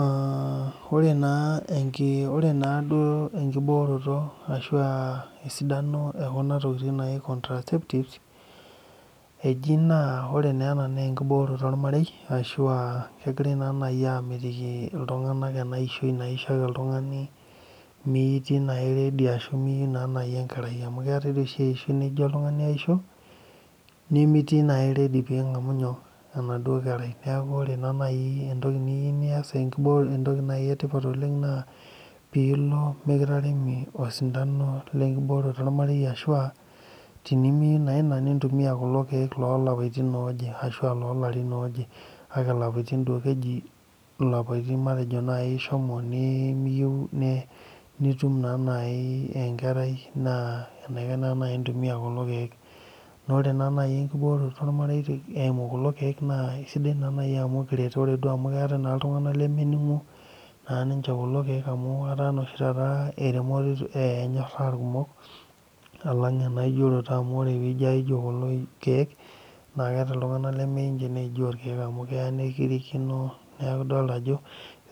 Aaa ore naa naa duo enkibooroto ekuna tokitin naaji contraceptive eji naa ore naa enaa naa enkibooroto ormarei ashua kegirai naa aamitiki ena ishoi naishio ake oltung'ani metii naa naaji redy ashu miyieu naaji enkerai amu keetai naaji eishoi nijio oltung'ani iyieu nioshio nimitii naaji ready piing'amu enaduo kerai neeku ore naaji entoki niyieu nias entoki naji etipat oleng naa peilo mikitaremi osindano lenkibooroto ormarei ashuua tenimiyieu naa ina nintumia kulo kiek loolapaitin ooje kake ilapaitin duo keji ilapaitin matejo ishomo naaji miyieu nitum naa naaji enkerai naa enaikash naaji intumiya kulo kiek naa teniata naaji enkibooroto ormarei eeimu kuko kiek naa. Eisidai naa naaji amu ekiret ore duo amu keetai iltung'anak lemeningu ninche kulo kiek amu etaa eremoto enyoraa irkumok alang eijioroto amu ijio aijio kulo kiek naa keeta iltung'anak lemeyiu ninche neijio irkiek amu keya nikirikino neeku ildoolta ajo